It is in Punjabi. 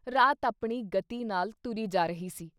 ਰਾਤ ਆਪਣੀ ਗਤੀ ਨਾਲ ਤੁਰੀ ਜਾ ਰਹੀ ਸੀ ।